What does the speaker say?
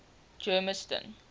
germiston